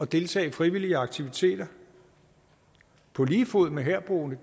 deltage i frivillige aktiviteter på lige fod med herboende